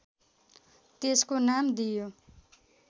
त्यसको नाम दिइयो